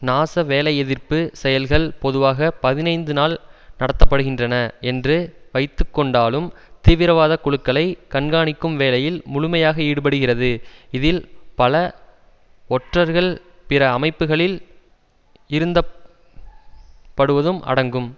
நாச வேலைஎதிர்ப்பு செயல்கள் பொதுவாக பதினைந்து நாள் நடத்த படுகின்றன என்று வைத்து கொண்டாலும் தீவிரவாத குழுக்களைக் கண்காணிக்கும் வேலையில் முழுமையாக ஈடுபடுகிறது இதில் பல ஒற்றர்கள் பிற அமைப்புக்களில் இருந்தப்படுவதும் அடங்கும்